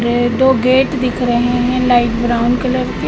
ये दो गेट दिख रहे हैं लाइट ब्राउन कलर के--